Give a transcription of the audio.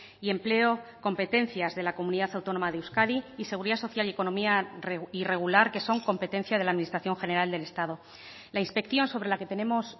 y empleo competencias de la comunidad autónoma de euskadi y seguridad social y economía irregular que son competencia de la administración general del estado la inspección sobre la que tenemos